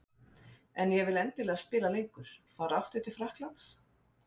En ég vil endilega spila lengur. Fara aftur til Frakklands?